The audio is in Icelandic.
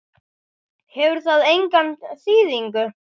Hefur það enga þýðingu?